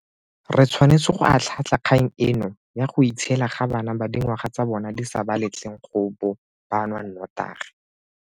Re tshwanetse go atlhaatlha kgang eno ya go itshiela ga bana ba dingwaga tsa bona di sa ba letleng go bo ba nwa notagi.